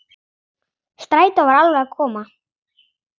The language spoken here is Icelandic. Strætó var alveg að koma.